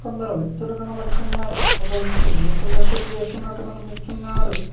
కొందరు వ్యక్తులు కనబడుతున్నారు ఒక వ్యక్తి బ్లూ కలర్ షర్ట్ వేసుకున్నట్టు కనిపిస్తున్నాడు.